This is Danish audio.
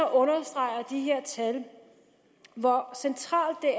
understreger de her tal hvor centralt det